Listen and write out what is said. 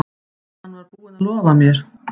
Hann var búinn að lofa mér.